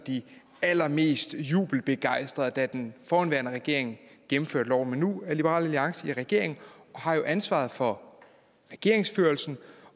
de allermest jubelbegejstrede da den forhenværende regering gennemførte loven men nu er liberal alliance i regering og har ansvaret for regeringsførelsen